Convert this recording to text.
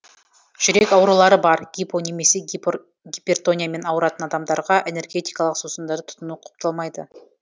жүрек аурулары бар гипо немесе гипертониямен ауыратын адамдарға энергетикалық сусындарды тұтыну құпталмайды